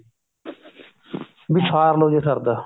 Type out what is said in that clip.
ਵੀ ਸਾਰਲੋ ਜੇ ਸਰਦਾ